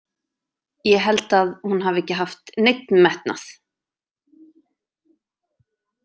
Ég held að hún hafi ekki haft neinn metnað.